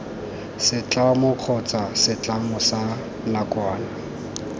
setlamo kgotsa setlamo sa nakwana